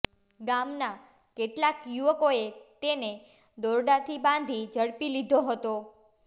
ગામના કેટલાક યુવકોએ તેને દોરડાથી બાંધી ઝડપી લીધો હતો